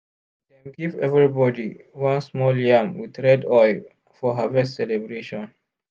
dem give everybody one small yam with red oil for harvest celebration.